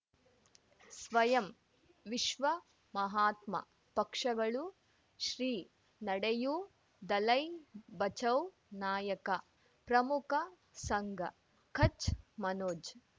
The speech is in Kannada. ಸ್ವಯಂ ವಿಶ್ವ ಮಹಾತ್ಮ ಪಕ್ಷಗಳು ಶ್ರೀ ನಡೆಯೂ ದಲೈ ಬಚೌ ನಾಯಕ ಪ್ರಮುಖ ಸಂಘ ಕಚ್ ಮನೋಜ್